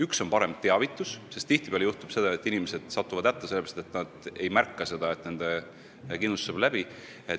Üks on parem teavitus, sest tihtipeale juhtub, et inimesed satuvad hätta sellepärast, et pole märganud, et nende kindlustuse aeg saab läbi.